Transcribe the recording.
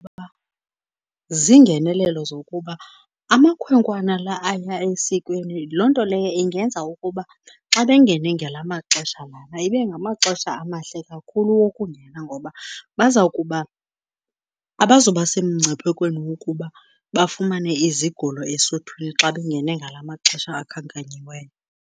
Ziingenelelo zokuba amakhwenkwana la aya esikweni loo nto leyo ingenza ukuba xa bengene ngala maxesha lana, ibe ngamaxesha amahle kakhulu wokungena ngoba baza kuba, abazuba semngciphekweni wokuba bafumane izigulo esuthwini xa bengene ngala maxesha akhankanyiweyo.